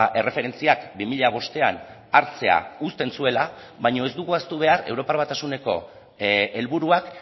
erreferentziak bi mila bostean hartzea uzten zuela baina ez dugu ahaztu behar europar batasuneko helburuak